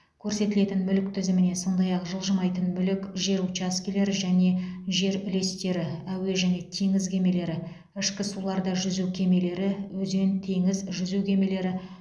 көрсетілетін мүлік тізіміне сондай ақ жылжымайтын мүлік жер учаскелері және жер үлестері әуе және теңіз кемелері ішкі суларда жүзу кемелері өзен теңіз жүзу кемелері